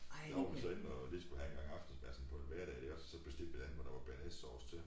Jeg var så inde og lige skulle have en gang aftensmad sådan på en hverdag iggås så bestilte jeg en med noget bearnaisesauce til